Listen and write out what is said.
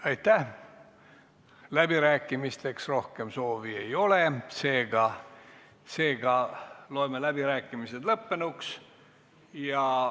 Aitäh, läbirääkimisteks rohkem soovi ei ole, seega loeme läbirääkimised lõppenuks.